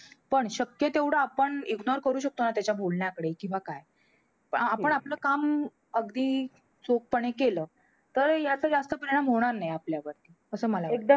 पण शक्य तेवढं आपण ignore करू शकतो ना त्याच्या बोलण्याकडे. किंवा काय. आपण आपलं काम अगदी चोखपणे केलं. तर ह्याचा जास्त परिणाम होणार नाही, आपल्यावर असं मला वाटतं.